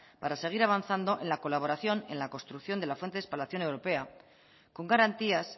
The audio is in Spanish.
para seguir avanzando en la colaboración y en la construcción de la fuente de espalación europea con garantías